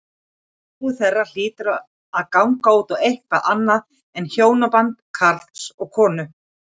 Sambúð þeirra hlýtur því að ganga út á eitthvað annað en hjónaband karls og konu.